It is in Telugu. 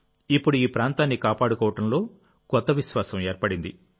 ఇప్పుడు ఈ ప్రాంతాన్ని కాపాడుకోవడంలో కొత్త విశ్వాసం ఏర్పడింది